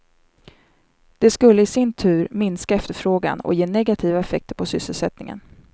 Det skulle i sin tur minska efterfrågan och ge negativa effekter på sysselsättningen.